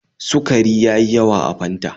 Sukari ya yi yawa a Fanta